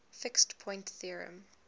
fixed point theorem